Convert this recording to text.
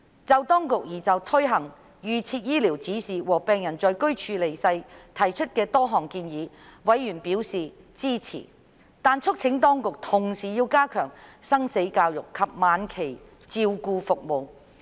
就當局擬推行預設醫療指示和容許病人選擇在居處離世，委員支持當局提出的多項建議，但促請當局同時加強生死教育及晚期照顧服務。